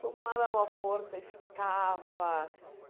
Vamos lá, dar uma força e ficava.